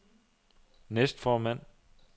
næstformand